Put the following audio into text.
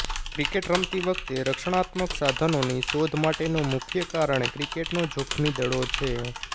cricket રમતી વખતે રક્ષણાત્મક સાધનોની શોધ માટેનું મુખ્ય કારણ ક્રિકેટનો જોખમી દડો છે